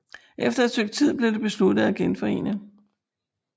Efter et stykke tid blev det besluttet at genforene